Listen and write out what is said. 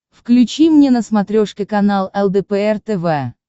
включи мне на смотрешке канал лдпр тв